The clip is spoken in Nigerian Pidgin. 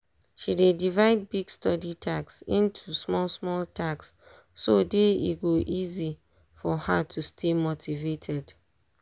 she dey divide big study task into small small task so day e go easy for her to stay motivated.